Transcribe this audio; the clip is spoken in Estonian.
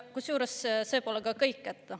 Kusjuures see pole ka kõik.